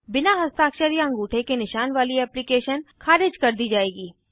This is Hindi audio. बिना हस्ताक्षर या अंगूठे के निशान वाली एप्लीकेशन ख़ारिज कर दी जाएगी